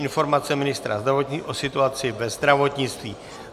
Informace ministra zdravotnictví o situaci ve zdravotnictví